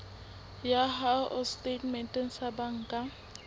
ya hao setatementeng sa banka